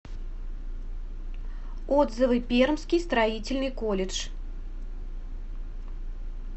отзывы пермский строительный колледж